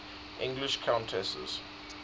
english countesses